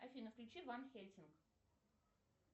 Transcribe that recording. афина включи ван хельсинг